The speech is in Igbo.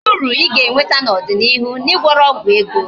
Kedu uru I ga-enweta n'ọdịnịihu na Ị gwọrọ ọgwụ ego?